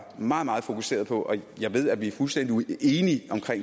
meget meget fokuserede på og jeg ved at vi er fuldstændig enige om